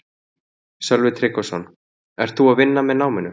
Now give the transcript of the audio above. Sölvi Tryggvason: Ert þú að vinna með náminu?